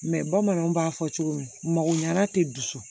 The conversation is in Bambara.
bamananw b'a fɔ cogo min mako ɲɛna tɛ dusu